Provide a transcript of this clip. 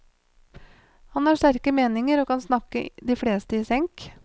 Han har sterke meninger og kan snakke de fleste i senk.